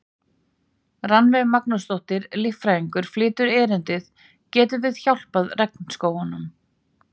Rannveig Magnúsdóttir, líffræðingur, flytur erindið: Getum við hjálpað regnskógunum?